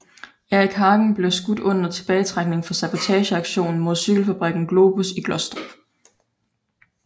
Erik Hagens blev skudt under tilbagetrækningen fra sabotageaktionen mod cykelfabrikken Globus i Glostrup